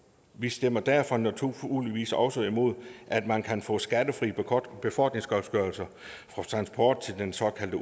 vi stemmer derfor naturligvis også imod at man kan få skattefri befordringsgodtgørelse for transport til den såkaldte